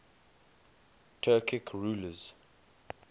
turkic rulers